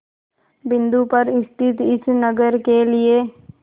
बिंदु पर स्थित इस नगर के लिए